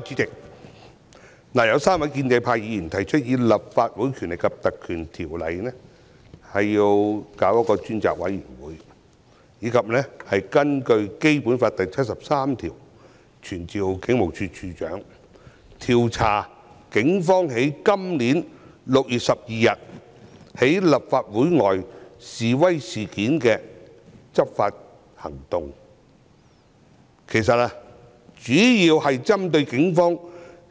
主席，有3位議員提出根據《立法會條例》委任專責委員會，以及根據《基本法》第七十三條傳召警務處處長，調查警方在今年6月12日在立法會外示威事件中的執法行動，其實主要是針對警方